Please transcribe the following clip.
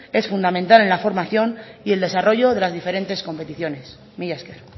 es fundamental en la formación y el desarrollo de las diferentes competiciones mila esker